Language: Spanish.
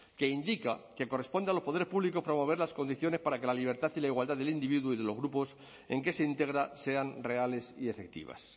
que indica que corresponde a los poderes públicos promover las condiciones para que la libertad y la igualdad del individuo y de los grupos en que se integra sean reales y efectivas